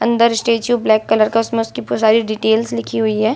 अंदर statue black colour का उसमे उसकी पूरी सारी डिटेल्स लिखी हुई है।